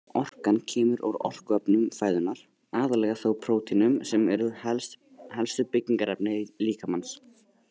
Orkan kemur úr orkuefnum fæðunnar, aðallega þó prótínum sem eru helstu byggingarefni líkamans.